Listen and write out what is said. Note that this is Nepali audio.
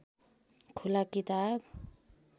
खुला किताब